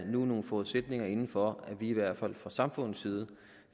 nu nogle forudsætninger sat ind for at vi i hvert fald fra samfundets side